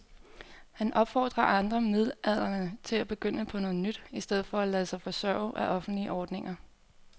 Han opfordrer andre midaldrende til at begynde på noget nyt i stedet for at lade sig forsørge af offentlige ordninger.